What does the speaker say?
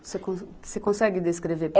Você cons, você consegue descrever